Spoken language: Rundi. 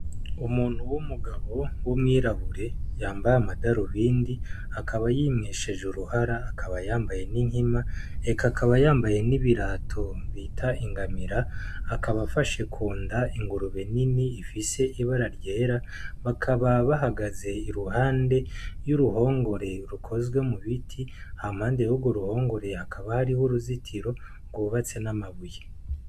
Umuntu w'umugabo wu mwirabure yambaye amadarubindi ,akaba yimwesheje uruhara akaba yambaye n'inkima ,eka akaba yambaye n'ibirato bita ingamira akaba afashe kunda ingurube nini ifise ibara ryera ,bakaba bahagaze iruhande y'uruhongore rukozwe mu biti , hampande yurwo ruhongore hakaba hariho uruzitiro rw'ubatse n'amabuye.